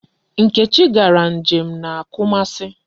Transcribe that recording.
Nkechi gara nje m na Kumasi.